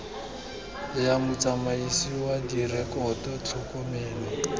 ya motsamaisi wa direkoto tlhokomelo